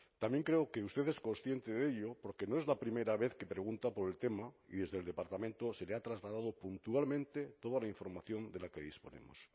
también creo que usted es consciente de ello porque no es la primera vez que pregunta por el tema y desde el departamento se le ha trasladado puntualmente toda la información de la que disponemos